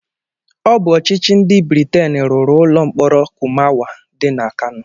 Ọ bụ Ọchịchị ndị Briten rụrụ ulọ mkpọrọ Kurmawa dị na Kano.